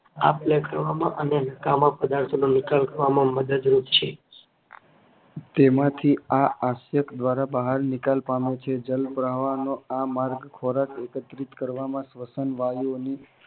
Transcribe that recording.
આપ-લે કરવામાં અને નકામા પદાર્થોનો નિકાલ કરવામાં મદદરૂપ છે. તેમાંથી આ અશ્ય્ક દ્વારા બહાર નિકાલ પામે છે. જલપ્રહવનો આ માર્ગ ખોરાક એકત્રિત કરવામાં સ્વશન વાયુઓની